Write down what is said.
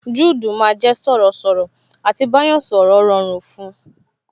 Juudu máa jẹ sọ̀rọ̀ sọ̀rọ̀, à ti bá yàn sọ̀rọ̀ rọrùn fun